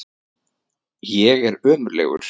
Ég er ömurlegur.